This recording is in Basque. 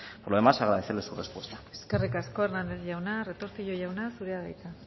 por lo demás agradecerle su respuesta eskerrik asko hernández jauna retortillo jauna zurea da hitza